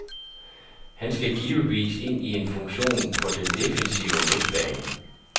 Han skal givetvis ind i en funktion på den defensive midtbane.